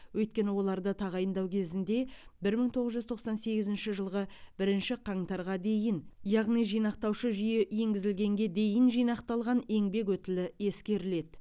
өйткені оларды тағайындау кезінде бір мың тоғыз жүз тоқсан сегізінші жылғы бірінші қаңтарға дейін яғни жинақтаушы жүйе енгізілгенге дейін жинақталған еңбек өтілі ескеріледі